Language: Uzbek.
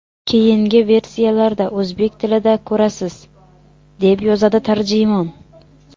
Keyingi versiyalarda o‘zbek tilida ko‘rasiz”, – deb yozadi tarjimon.